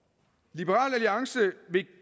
liberal alliance vil